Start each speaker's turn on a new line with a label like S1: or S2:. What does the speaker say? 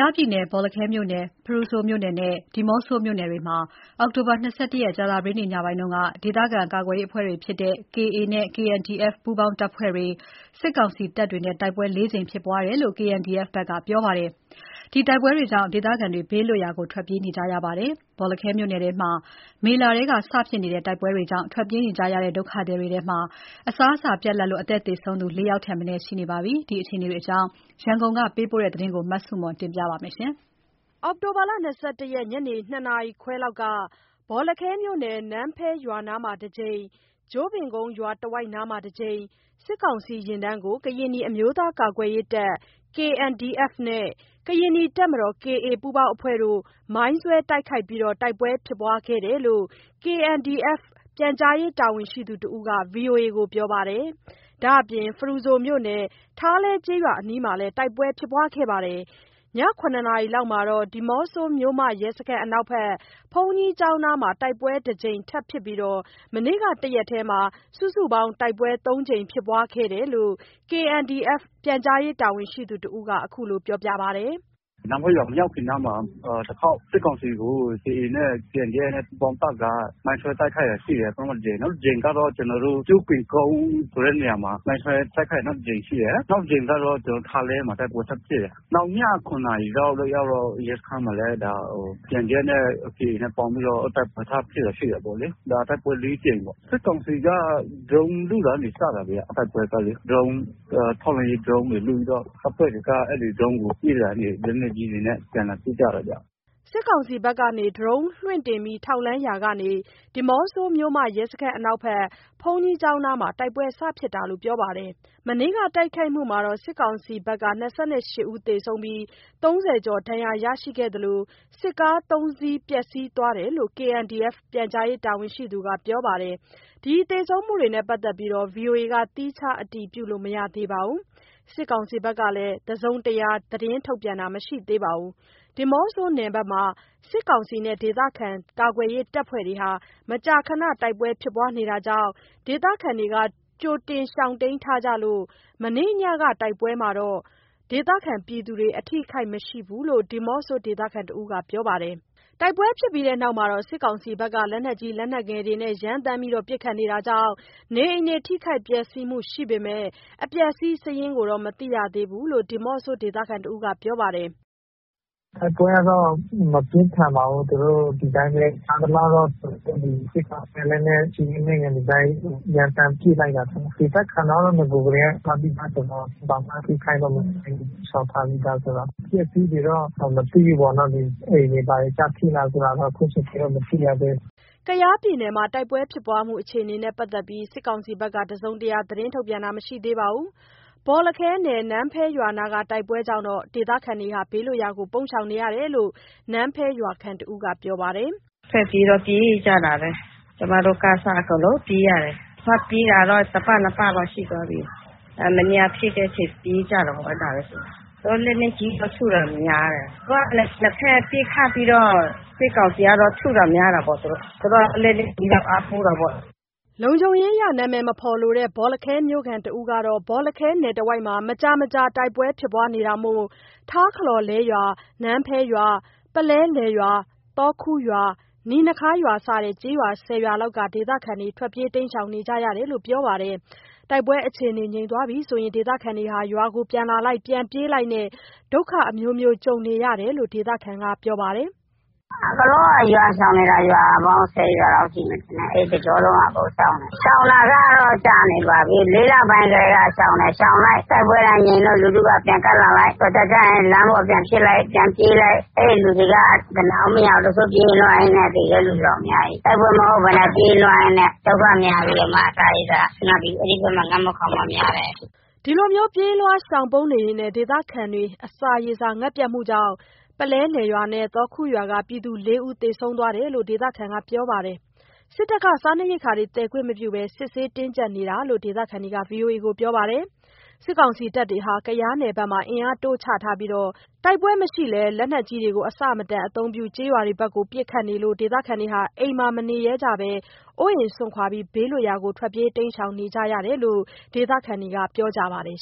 S1: ားပြည်နယ် ဘောလခဲ၊ ဖရူဆိုနဲ့ ဒီးမော့ဆိုမြို့နယ်တွေမှာ အောက်တိုဘာ ၂၁ ရက် ညနေက KA၊ KNDF ပူးပေါင်းတပ်နဲ့ စစ်ကောင်စီအကြား တိုက်ပွဲ လေးကြိမ်ဖြစ်ပွားခဲ့တယ်လို့ KNDF က ပြောဆိုလိုက်ပါတယ်။ တိုက်ပွဲအခြေအနေကြောင့် ဒေသခံတွေ ထွက်ပြေးတိမ်းရှောင်နေရပြီး အစာရေစာပြတ်မှုကြောင့် သေဆုံးသူ ၄ ဦး ရှိတယ် လို့ ဒေသခံတဦးက ပြောပါတယ်။ ရန်ကုန်ကပေးပို့တဲ့ သတင်းကို မဆုမွန်က တင်ပြပေးထားပါတယ်။ အောက်တိုဘာ ၂၁ ရက် ညနေ ၂ နာရီခွဲလောက်က ဘောလခဲမြို့နယ်၊ နန်းဖဲရွာနားမှာ တကြိမ်၊ ကျို့ပင်ကုန်းရွာတဝိုက် စစ်ကောင်စီယာဉ်တန်းကို ကရင်နီအမျိုးသားကာကွယ်ရေးတပ် (KNDF) နဲ့ ကရင်နီတပ်မတော် (KA) ပူးပေါင်းအဖွဲ့တို့ မိုင်းဆွဲတိုက်ခိုက်ပြီး တိုက်ပွဲဖြစ်ခဲ့တယ်လို့ KNDF ပြန်ကြားရေးတာဝန်ရှိသူတဦးက VOA ကိုပြောပါတယ်။ ဒါ့အပြင် ဖရူဆိုမြို့နယ် ထားလဲကျေးရွာအနီးမှာလည်း တိုက်ပွဲဖြစ်ပွားခဲ့ပြီး ည ၇ နာရီလောက်မှာတော့ ဒီးမော့ဆိုမြို့မ ရဲစခန်းအနောက်ဘက် ဘုန်းကြီးကျောင်းနားမှာ တိုက်ပွဲတကြိမ်ထပ်ဖြစ်ပြီး မနေ့က တရက်တည်းမှာ စုစုပေါင်း တိုက်ပွဲ သုံးကြိမ်ဖြစ်ပွားခဲ့တာလို့ KNDF ပြန်ကြားရေးတာဝန်ရှိသူတဦးက အခုလို ပြောပါတယ်။
S2: “နန်းဖဲမရောက်ခင်နားမှာ တခေါက်၊ စစ်ကောင်စီကို KA နဲ့ KNDF ပူးပေါင်းတပ်က မိုင်းဆွဲ တိုက်ခိုက်တာရှိတယ်။ ပထမတကြိမ်၊ နောက်တကြိမ်က ကျို့ပင်ကုန်းခွဲနေရာမှာ မိုင်ဆွဲတိုက်ခိုက် နောက်တကြိမ်ရှိတယ်၊ နောက်တကြိမ် ကတော့ ထားလဲမှာ တိုက်ပွဲထပ်ဖြစ်တယ်။ နောက် ည ၇ နာရီလောက်ရောက်တော့ ရဲစခန်းမှာလည်းKNDF နဲ့ KA နဲ့ ပေါင်းပြီးတော့ တိုက်ပွဲထပ်ဖြစ်တာ ရှိတာပေါ့လေ။တိုက်ပွဲလေးကြိမ်ပေါ့၊ စစ်ကောင်စီက ဒရုန်းလွှတ်ရာကနေစတာဗျာ။ တိုက်ပွဲကလေ၊ ထောက်လှမ်းရေးဒရုန်းတွေ လွှတ်ပြီးတော့ တပ်ဖွဲ့တွေက အဲ့ဒီဒရုန်းကို ပစ်ရာကနေ လက်ကြီးတွေနဲ့အပြန်အလှန်ထုကြတာဗျ။
S1: ” စစ်ကောင်စီဘက်က ဒရုန်းလွှတ်တင် ထောက်လှမ်းရာကနေ ဒီးမော့ဆိုမြို့ ရဲစခန်းအနောက်ဘက် ဘုန်းကြီးကျောင်းနားမှာ တိုက်ပွဲဖြစ်စတာလို့ ပြောပါတယ်။ မနေ့က တိုက်ခိုက်မှုမှာ စစ်ကောင်စီဘက်က ၂၈ ဦးသေဆုံးပြီး ၃၀ ကျော် ဒဏ်ရာရရှိသလို စစ်ကား ၃ စီး ပျက်စီးသွားတယ်လို့ KNDF ပြန်ကြားရေးတာဝန်ရှိသူက ပြောပါတယ်။ ဒီသေဆုံးမှုနဲ့ ပတ်သက်ပြီး VOA က သီးခြားအတည်လို့ မရသေးပါဘူး။ စစ်ကောင်စီဘက်ကလည်း တစုံတရား သတင်းထုတ်ပြန်တာ မရှိသေးပါဘူး။ ဒီးမော့ဆိုနယ်မှာ စစ်ကောင်စီနဲ့ ဒေသခံကာကွယ်ရေးတပ်ဖွဲ့တို့ဟာ မကြာခဏ တိုက်ပွဲဖြစ်ပွားနေတာကြောင့် ဒေသခံတွေ ကြိုတင်ရှောင်တိမ်းထားကြလို့ မနေ့ညက တိုက်ပွဲမှာ ဒေသခံတွေ အထိအခိုက်မရှိဘူးလို့ ဒီးမော့ဆိုဒေသခံတဦးက ပြောပါတယ်။ တိုက်ပွဲဖြစ်ပြီးနောက် စစ်ကောင်စီက လက်နက်ကြီး လက်နက်ငယ်တွေနဲ့ ရမ်းသမ်းပစ်ခတ်နေတာကြောင့် နေအိမ်ထိခိုက် ပျက်စီးမှုရှိပေမယ့် အပျက်အစီးစာရင်းကိုတော့ မသိရသေးလို့ ဒီးမော့ဆိုဒေသခံတဦးက ပြောပါတယ်။
S2: “တိုက်ပွဲကတော့ မပြင်းပါဘူး၊ သူတို့ ဒီတိုင်းပဲ ကြားသလောက်တော့ စစ်ကောင်စီက လက်နက်ကြီး လက်နက်ငယ်တွေ ရမ်းသမ်းပစ်လိုက်တာထင်တယ်၊ ဒေသတွေက နဂိုကတည်းက ရှောင်တိမ်းထားတယ်ဆိုတော့ ဘာမှ ထိခိုက်တာ မရှိဘူး၊ ရှောင်ထားပြီးသားဆိုတော့၊ အပျက်အစီးတွေက မသိဘူးပေါ့နော်။ အိမ်တွေ ဘာတွေကျထိလားဆိုတော့ အခုချိန်ထိ မသိရသေးဘူး
S1: ။” ကယားပြည်နယ်မှာ တိုက်ပွဲဖြစ်ပွားမှုအခြေအနေနဲ့ ပတ်သက်ပြီး စစ်ကောင်စီဘက်ကတော့ တစုံတရာ သတင်းထုတ်ပြန်တာ မရှိသေးပါဘူး။ ဘောလခဲနယ် နန်းဖဲရွာနားက တိုက်ပွဲကြောင့် ဒေသခံတွေ ဘေးလွတ်ရာကိုပုန်းရှောင်နေရတယ်လို့ နန်းဖဲရွာခံတဦးက ပြောပါတယ်။ “ထွက်ပြေးတော့ ပြေးကြတာပဲ၊ ကျမတို့ကအစ အကုန်လုံးပြေးရတယ်၊ ထွက်ပြေးတာတော့ တပတ် နှစ်ပတ်တော့ ရှိသွားပြီ။ အဲဒီနေ့က ဖြစ်တဲ့အချိန်ပြေးကြတာပဲ။ လက်နက်ကြီးထုတာများတယ်၊ နှစ်ဘက်ပစ်ခတ်ပြီးတော့ စစ်ကောင်စီကတော့ ထုတာများတာပေါ့။ သူတို့က လက်နက်ကြီးနဲ့ အားကိုးတာပေါ့။” လုံခြုံးရေးအရ နာမည်မဖော်လိုတဲ့ ဘောလခဲမြို့ခံတဦးကတော့ ဘောလခဲနယ်တဝိုက်မှာ မကြာမကြာ တိုက်ပွဲဖြစ် ပွားနေတာမို့ ထားခလောလဲရွာ၊ နန်းဖဲရွာ၊ ပုလဲလယ်ရွာ၊ သော်ခူရွာ၊ နီနခါးရွာ စတဲ့ ကျေးရွာ ၁၀ ရွာလောက်က ဒေသခံတွေ ထွက်ပြေးနေကြရတယ်လို့ ပြောပါတယ်။ တိုက်ပွဲအခြေအနေငြိမ်ရင် ဒေသခံတွေရွာကို ပြန်လာလိုက်၊ ပြန်ပြေးလိုက်နဲ့ ဒုက္ခအမျိုးမျိုးကြုံနေရတာလို့ ဒေသခံက ပြောပါတယ်။ “အကုန်လုံးက ရွာရှောင်နေတာ ရွာပေါင်း ၁၀ ရွာလေ
S2: ာက်ရှိမယ် ထင်တယ်၊ အဲ့တစ်ကျောလုံးက ရှောင်တယ်၊
S1: ရှောင် တာကတော့ ကြာနေပါပြီ။ ၄ လပိုင်းကတည်းက ရှောင်တယ်၊ ရှောင်လိုက် တိုက်ပွဲကငြိမ်လို
S2: က်၊ လူထုက ပြန်ကပ်လိုက်။ တော်ကြာကျရင် လမ်းပေါ်ပြန်ဖြစ်လိုက်၊ ပြန်ပြေးလိုက်။ လူတွေ အနားမရသေးဘူး။ ပြေးလွှားရင်းနဲ့ သေတဲ့လူတော့ အများကြီး။ တိုက်ပွဲမဟုတ်ဘဲနဲ့ ပြေးလွှားရင်းနဲ့ ဒုက္ခများပြီးတော့မှ အစား
S1: ရေစာငတ်ပြီး အဲ့ဒီဘက်မှာ ငတ်မွတ်ခေါင်းပါး များတယ်။” ဒီလို ပြေးလွှား ရှောင်ပုန်းရင် ဒေသခံတွေ အစားရေစာငတ်ပြတ်မှုကြောင့် ပုလဲလယ်ရွာ၊ သော်ခူရွာက ပြည်သူ ၄ ဦး သေဆုံးသွားတယ်လို့ ဒေသခံက ပြောပါတယ်။ စစ်တပ်က စားနပ်ရိက္ခာသယ်ခွင့်မပြုဘဲ စစ်ဆေးတင်ကြပ်နေတာလို့ ဒေသခံတွေက VOA ကို ပြောပါတယ်။ စစ်ကောင်စီတပ်တွေဟာ ကယားနယ်ဘက်မှာ အင်အားတိုးချထားပြီး တိုက်ပွဲမရှိလည်း လက်နက်ကြီးတွေ အဆမတန် အသုံးပြု ကျေးရွာဘက်ကို ပစ်ခတ်လို့ ဒေသခံ အိမ်မှာ မနေရဲဘဲ အိုးအိမ်စွန့်ခွာ ဘေးလွတ်ရာကိုထွက်ပြေးရတာလို့ ဒေသခံတွေက ပြောကြပါတယ်